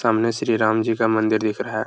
सामने श्री रामजी का मंदिर दिख रहा है |